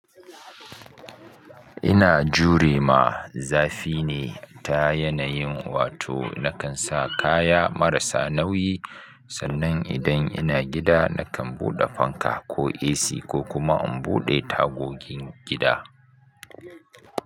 Ina jure ma zafi ne ta yanayin wato na kan sa kaya marasa nauyi. Sannan idan ina gida na kan buɗe fanka ko AC ko kuma in buɗe tagogin gida.